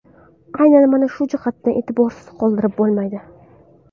Aynan mana shuni jihatni e’tiborsiz qoldirib bo‘lmaydi.